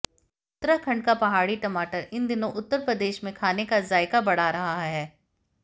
उत्तराखंड का पहाड़ी टमाटर इन दिनों उत्तर प्रदेश में खाने का जायका बढ़ा रहा है